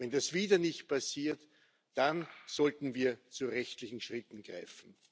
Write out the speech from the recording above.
Wenn das wieder nicht passiert, dann sollten wir zu rechtlichen Schritten greifen.